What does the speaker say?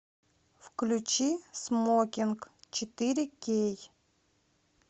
включи смокинг четыре кей